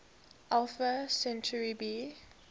alpha centauri b